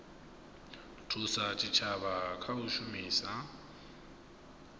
thusa zwitshavha kha u shumisa